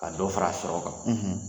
Ka dɔ fara sɔrɔ kan